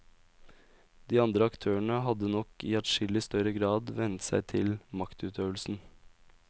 De andre aktørene hadde nok i adskilling større grad vennet seg til maktutøvelsen.